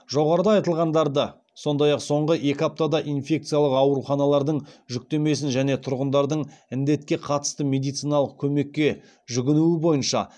жоғарыда айтылғандарды сондай ақ соңғы екі аптада инфекциялық ауруханалардың жүктемесін және тұрғындардың індетке қатысты медициналық көмекке жүгінуі бойынша